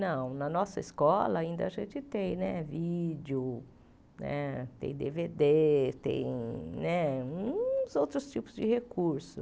Não, na nossa escola ainda a gente tem, né, vídeo, né tem dê vê dê, tem né uns outros tipos de recurso.